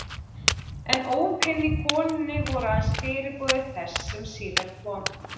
En ópin í konunni voru aðeins fyrirboði þess sem síðar kom.